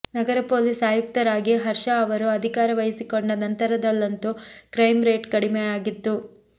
ನಗರ police ಆಯುಕ್ತರಾಗಿ ಹರ್ಷ ಅವರು ಅಧಿಕಾರ ವಹಿಸಿಕೊಂಡ ನಂತರದಲ್ಲಂತೂ ಕ್ರೈಂ ರೇಟ್ ಕಡಿಮೆಯಾಗಿತ್ತು